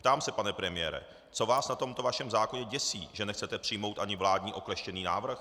Ptám se, pane premiére, co vás na tomto vašem zákoně děsí, že nechcete přijmout ani vládní okleštěný návrh.